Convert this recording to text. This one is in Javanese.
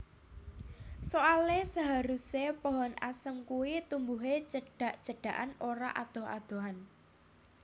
Soale seharuse pohon asem kuwi tumbuhe cedhak cedhakan ora adoh adohan